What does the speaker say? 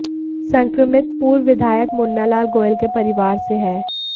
संक्रमित पूर्व विधायक मुन्नालाल गोयल के परिवार से हैं